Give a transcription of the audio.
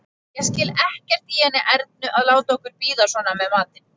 Ég skil ekkert í henni Ernu að láta okkur bíða svona með matinn!